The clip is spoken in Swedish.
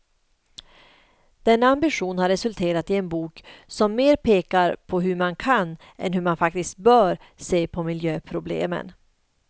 Denna ambition har resulterat i en bok som mer pekar på hur man kan, än hur man faktiskt bör se på miljöproblemen.